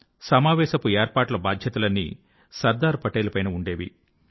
సమావేశపు ఏర్పాట్ల బాద్యతలన్నీ సర్దార్ పటేల్ పైన ఉండేవి